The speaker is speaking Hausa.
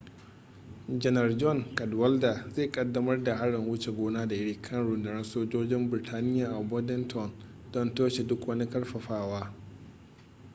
janar john cadwalder zai kaddamar da harin wuce gona da iri kan rundunar sojojin burtaniya a bordentown don toshe duk wani karfafawa